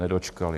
Nedočkali.